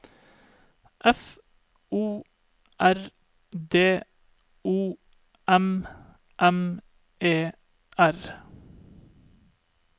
F O R D O M M E R